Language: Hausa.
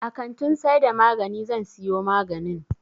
A kantin saida magani zan siyo maganin